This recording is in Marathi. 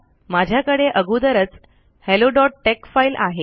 मझ्याकडे अगोदरच helloटेक्स फ़ाइल आहे